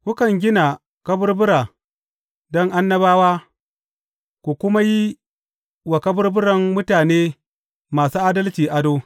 Kukan gina kaburbura don annabawa, ku kuma yi wa kaburburan mutane masu adalci ado.